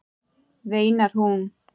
veinar hún.